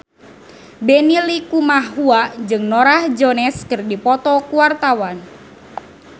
Benny Likumahua jeung Norah Jones keur dipoto ku wartawan